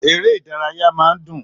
Èrè ìdárayá máa ń dùn